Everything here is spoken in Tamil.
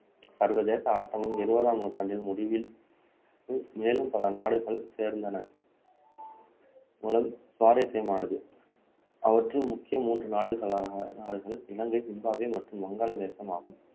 சர்வதேச ஆட்டமும் இருபதாம் நூற்றாண்டின் முடிவில் மேலும் பல நாடுகள் சேர்ந்தன சுவாரஸ்யமானது அவற்றுள் முக்கிய மூன்று நாடுகள் இலங்கை, ஜிம்பாப்வே மற்றும் வங்காளதேசம் ஆகும்